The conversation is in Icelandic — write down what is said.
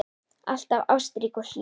Alltaf ástrík og hlý.